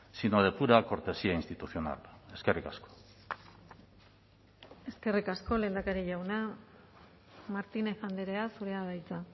sino de pura cortesía institucional eskerrik asko eskerrik asko lehendakari jauna martínez andrea zurea da hitza